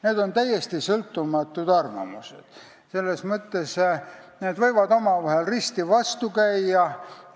Need on täiesti sõltumatud arvamused, mis võivad teineteisele risti vastu käia.